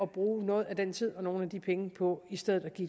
bruge noget af den tid og nogle af de penge på i stedet at give